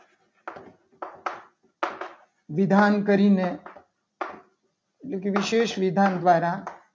વિધાન કરીને એટલે કે વિશેષ વિધાન દ્વારા